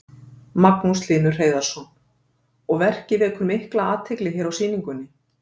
Magnús Hlynur Hreiðarsson: Og verkið vekur mikla athygli hér á sýningunni?